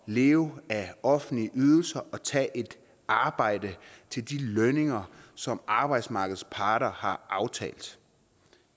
leve af offentlige ydelser og at tage et arbejde til de lønninger som arbejdsmarkedets parter har aftalt